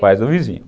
Pais do vizinho.